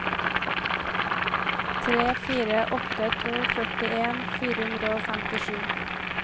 tre fire åtte to førtien fire hundre og femtisju